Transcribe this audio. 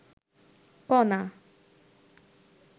কণা